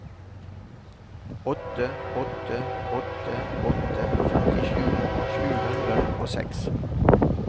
åtte åtte åtte åtte femtisju sju hundre og seks